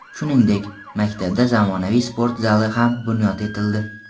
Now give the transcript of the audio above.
Shuningdek, maktabda zamonaviy sport zali ham bunyod etildi.